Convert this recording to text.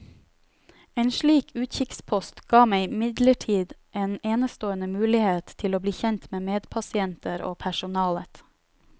En slik utkikkspost ga meg imidlertid en enestående mulighet til å bli kjent med medpasienter og personalet.